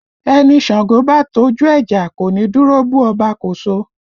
Ẹni Ṣàngó bá tọ́jú ẹ jà, kò ní dúró bú Ọba Koso